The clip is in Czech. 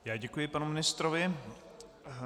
Já děkuji panu ministrovi.